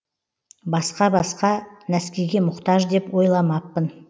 басқа басқа нәскиге мұқтаж деп ойламаппын